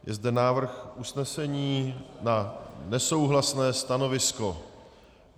Je zde návrh usnesení na nesouhlasné stanovisko.